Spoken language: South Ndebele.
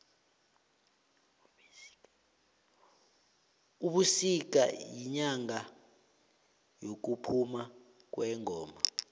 ubisika yinyanga yekuphuma kwengoma